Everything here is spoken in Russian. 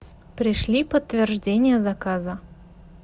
пришли подтверждение заказа